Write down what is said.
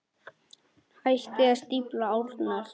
Hættið að stífla árnar.